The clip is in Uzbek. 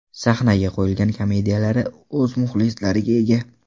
Sahnaga qo‘yilgan komediyalari o‘z muxlislariga ega.